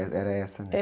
Eh, era essa, né?